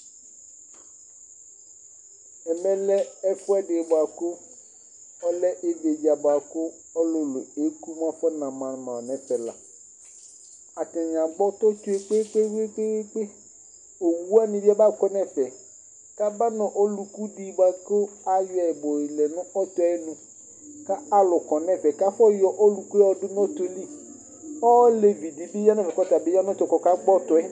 Ɛmɛlɛ ɛfʋɛdi bʋakʋ ɔlɛ íví dza bʋakʋ ɔlulu ni eku mɛ atani afɔna ma ma' nʋ ɛfɛ la Atani agbɔ ɔtɔ tsʋe kpe kpe kpe kpe kpe Owu wani bi aba kɔ nʋ ɛfɛ kʋ aba nʋ ɔlu ku di bʋakʋ ayɔ yɛ balɛ nʋ ɔtɔ yɛ nu Alu kɔ nʋ ɛfɛ kʋ afɔ yɔ ɔlu ku yɛ yɔdu nu ɔtɔ yɛ li Ɔlevi di bi ya nʋ ɛfɛ kʋ ɔtabi ya nu ɔtɔ kʋ ɔka gbɔ ɔtɔ yɛ